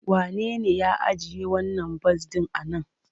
Wanene ya ajiye wannan bas ɗin a nan?